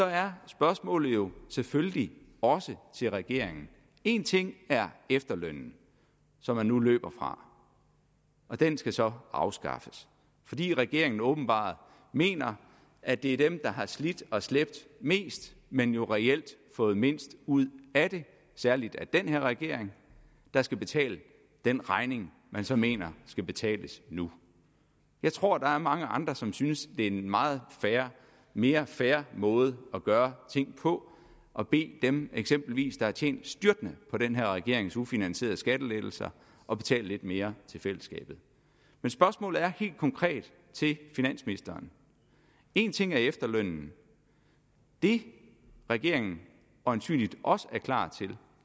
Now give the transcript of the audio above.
er spørgsmålet jo selvfølgelig også til regeringen en ting er efterlønnen som man nu løber fra den skal så afskaffes fordi regeringen åbenbart mener at det er dem der har slidt og slæbt mest men jo reelt fået mindst ud af det særlig af den her regering der skal betale den regning man så mener skal betales nu jeg tror der er mange andre som synes at er en meget mere fair måde at gøre ting på at bede dem eksempelvis har tjent styrtende på den her regerings ufinansierede skattelettelser at betale lidt mere til fællesskabet men spørgsmålet er helt konkret til finansministeren en ting er efterlønnen det regeringen øjensynligt også er klar til